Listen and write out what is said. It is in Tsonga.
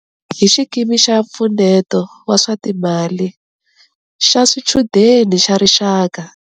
Hi Xikimi xa Mpfuneto wa swa Timali xa Swichudeni xa Rixaka.